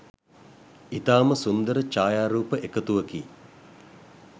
ඉතාම සුන්දර ඡායාරූප එකතුවකි.